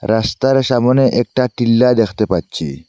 রাস্তার সামনে একটা টিল্লা দ্যাখতে পাচ্ছি।